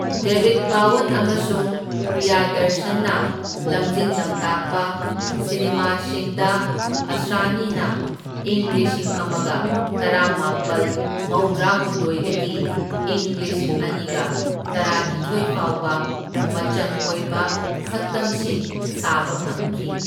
ꯗꯦꯕꯤꯗ ꯙꯥꯋꯟ ꯑꯃꯁꯨꯡ ꯄ꯭ꯔꯤꯌꯥꯗꯔꯁꯟꯅ ꯂꯝꯖꯤꯡ ꯂꯝꯇꯥꯛꯄ ꯁꯤꯅꯦꯃꯥꯁꯤꯡꯗ ꯑꯁ꯭ꯔꯥꯅꯤꯅ ꯏꯪ ꯂꯤꯁꯤꯡ ꯑꯃꯒ ꯇꯔꯥꯃꯥꯄꯜ ꯃꯧꯗ꯭ꯔꯥꯍꯨꯝꯗꯣꯢꯗꯒꯤ ꯢꯪ ꯂꯤꯁꯤꯡ ꯑꯅꯤꯒ ꯇꯔꯥꯅꯤꯊꯣꯢ ꯐꯥꯎꯕ ꯃꯆꯪ ꯑꯣꯢꯕ ꯁꯛꯇꯝꯁꯤꯡ ꯁꯥꯕ ꯐꯪꯈꯤ꯫